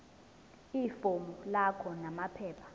ifomu lakho namaphepha